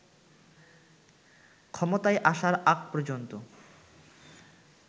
ক্ষমতায় আসার আগ পর্যন্ত